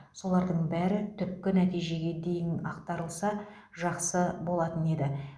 солардың бәрі түпкі нәтижеге дейін атқарылса жақсы болатын еді